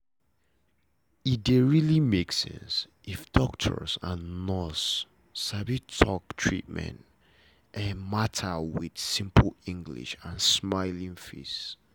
e dey really make sense if doctor and nurse sabi talk treatment matter with simple english and smiling face